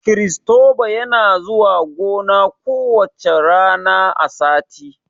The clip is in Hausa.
Kiristoba yana zuwa gona ku wacca rana a sati